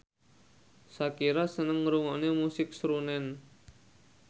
Shakira seneng ngrungokne musik srunen